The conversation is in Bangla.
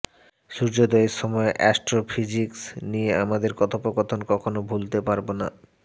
সূর্যোদয়ের সময় অ্যাস্ট্রোফিজিক্স নিয়ে আমাদের কথোপকথন কখনও ভুলতে পারব না